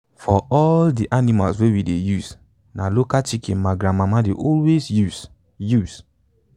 for all the animals wey we dey use na local chicken my grandmama dey always use. use.